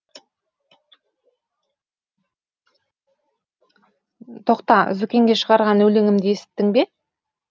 тоқта зүкенге шығарған өлеңімді есіттің бе